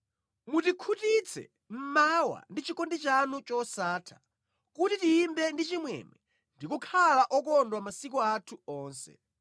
Mutikhutitse mmawa ndi chikondi chanu chosatha, kuti tiyimbe ndi chimwemwe ndi kukhala okondwa masiku athu onse.